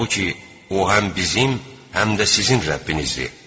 Halbuki o həm bizim, həm də sizin Rəbbinizdir.